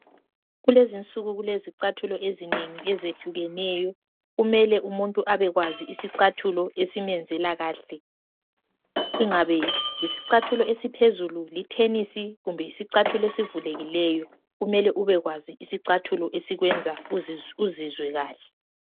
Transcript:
Kulezi nsuku kule zicathulo ezinengi ezehlukeneyo kumele umuntu abekwazi isicathulo esimenzela kahle ingabe yisicathulo esiphezulu, lithenisi kumbe yisicathulo esivulekileyo kumele ubekwazi isicathulo esikwenza uzizwe kahle.